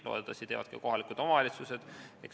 Loodetavasti teevad seda ka kohalikud omavalitsused.